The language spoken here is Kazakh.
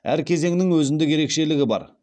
әр кезеңнің өзіндік ерекшелігі бар